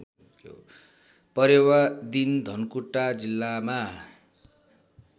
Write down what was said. परेवादिन धनकुटा जिल्लामा